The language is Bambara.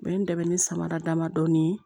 U ye n dɛmɛ ni samara dama dɔɔnin ye